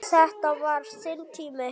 Þetta var þinn tími.